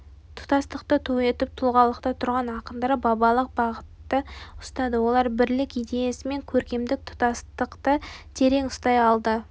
тұтастықты ту етіп тұлғалықта тұрған ақындар бабалық бағытты ұстады олар бірлік идеясы мен көркемдік тұтастықты тең ұстай алды